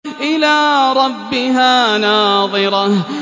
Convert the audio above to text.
إِلَىٰ رَبِّهَا نَاظِرَةٌ